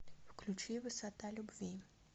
включи высота любви